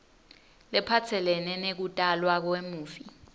lephatselene nekutalwa kwemufi